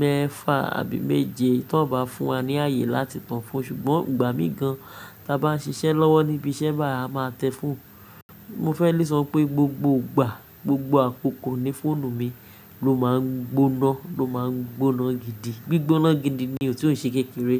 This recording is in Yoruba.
mẹ́fa àbí méje tó n bá fún wa ní ààyè láti tàn foonu, ṣùgbọ́n ìgbà mí gan ta bá ń ṣiṣẹ́ lọ́wọ́ níbi iṣẹ́ báyii a máa tẹ fóònù. Mo fẹ́ lè sọ pé gbogbo ìgbà, gbogbo àkókò ni fóònù mi ló máa ń gbóná, ló máa ń gbóná gidi. Gbigbóná gidi ni ò tí òn ṣe kékeré.